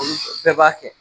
olu bɛɛ b'a kɛ